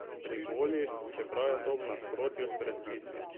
Privoli, čeprav je to v nasprotju s predpisi.